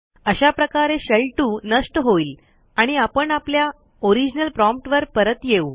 अशा प्रकारे शेल2 नष्ट होईल आणि आपण आपल्या ओरिजनल promptवर परत येऊ